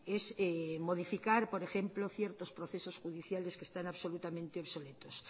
es modificar por ejemplo ciertos procesos judiciales que están absolutamente obsoletos